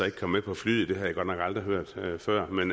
ikke kom med på flyet har jeg godt nok aldrig hørt før men